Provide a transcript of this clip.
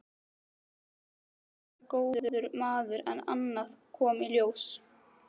Agnar væri góður maður en annað kom í ljós.